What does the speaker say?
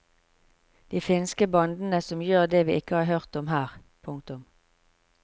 De finske bandene som gjør det har vi ikke hørt om her. punktum